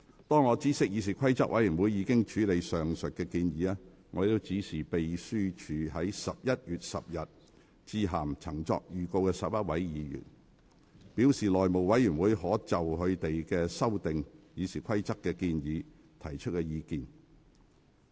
當我知悉議事規則委員會已經處理上述建議，我指示秘書於11月10日致函曾作預告的11位議員，表示內務委員會可就他們修訂《議事規則》的建議提出意見。